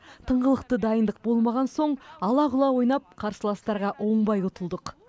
тыңғылықты дайындық болмаған соң алағұла ойнап қарсыластарға оңбай ұтылдық